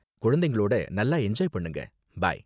குழந்தைகளோட நல்லா எஞ்சாய் பண்ணுங்க, பை.